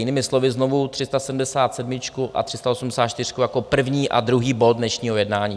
Jinými slovy znovu: 377 a 384 jako první a druhý bod dnešního jednání.